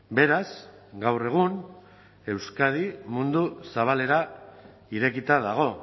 beraz gaur egun euskadi mundu zabalera irekita dago